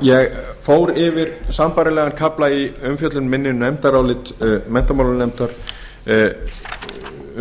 ég fór yfir sambærilegan kafla í umfjöllun minni um nefndarálit menntamálanefndar